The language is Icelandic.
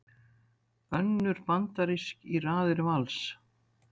Önnur bandarísk í raðir Vals